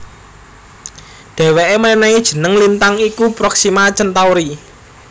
Dhèwèké mènèhi jeneng lintang iku Proxima Centauri